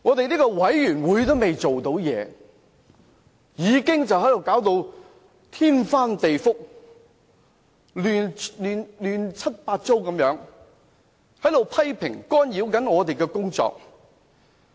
專責委員會尚未正式工作，反對派議員已經搞到天翻地覆、亂七八糟，引來各方批評，干擾專責委員會的工作。